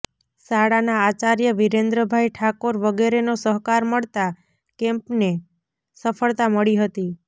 શાળાના આચાર્ય વિરેન્દ્રભાઇ ઠાકોર વગેરેનો સહકાર મળતા કેમ્પને સફળતા મળી હતી